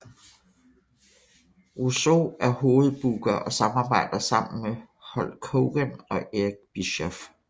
Russo er hovedbooker og samarbejder sammen med Hulk Hogan og Eric Bischoff